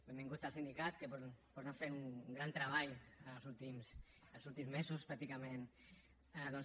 benvinguts els sindicats que han fet un gran treball els últims mesos pràcticament doncs